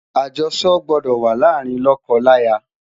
ajoso gbọdọ wà làrin loko laya